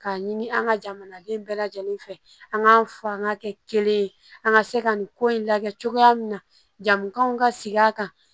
K'a ɲini an ka jamanaden bɛɛ lajɛlen fɛ an k'a fɔ an k'a kɛ kelen ye an ka se ka nin ko in lajɛ cogoya min na jamukaw ka sigi a kan